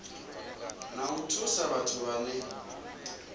na u thusa vhathu vhane